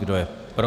Kdo je pro?